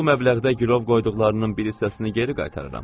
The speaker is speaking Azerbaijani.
Bu məbləğdə girov qoyduqlarının bir hissəsini geri qaytarıram.